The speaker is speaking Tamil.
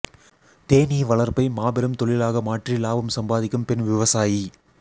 தேனீ வளர்ப்பை மாபெரும் தொழிலாக மாற்றி லாபம் சம்பாதிக்கும் பெண் விவசாயி